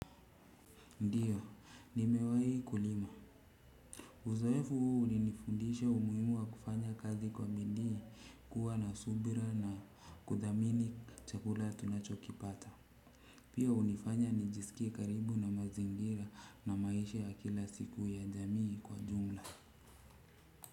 Ndio, nimewahi kulima. Uzoefu huu ulinifundisha umuhimu wa kufanya kazi kwa bidii kuwa na subira na kudhamini chakula tunachokipata. Pia hunifanya nijisikie karibu na mazingira na maisha ya kila siku ya jamii kwa jumla.